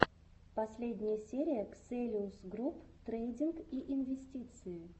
последняя серия ксэлиус груп трейдинг и инвестиции